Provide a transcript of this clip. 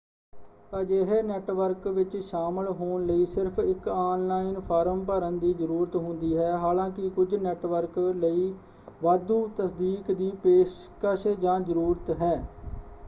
ਅਜਿਹੇ ਨੈੱਟਵਰਕ ਵਿੱਚ ਸ਼ਾਮਿਲ ਹੋਣ ਲਈ ਸਿਰਫ਼ ਇਕ ਆਨ-ਲਾਈਨ ਫਾਰਮ ਭਰਨ ਦੀ ਜ਼ਰੂਰਤ ਹੁੰਦੀ ਹੈ; ਹਾਲਾਂਕਿ ਕੁਝ ਨੈੱਟਵਰਕ ਲਈ ਵਾਧੂ ਤਸਦੀਕ ਦੀ ਪੇਸ਼ਕਸ਼ ਜਾਂ ਜ਼ਰੂਰਤ ਹੈ।